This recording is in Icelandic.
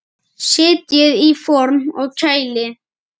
Setjið í form og kælið.